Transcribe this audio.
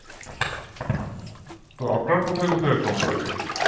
তো আপনার কোথায় কোথায় account আছে?